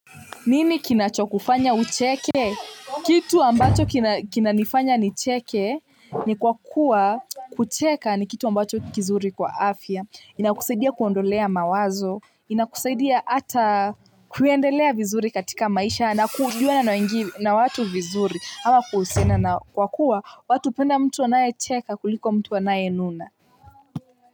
Nini kinacho kufanya ucheke kitu ambacho kinanifanya nicheke ni kwa kuwa kucheka ni kitu ambacho kizuri kwa afya inakusaidia kuondolea mawazo inakusaidia ata kuendelea vizuri katika maisha na kujuana na watu vizuri ama kuhusiana nao kwa kuwa watu hupenda mtu anayecheka kuliko mtu anayenuna.